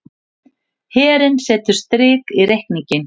Herinn setur strik í reikninginn